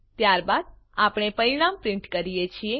ત્યારબાદ આપણે પરીણામ પ્રીંટ કરીએ છીએ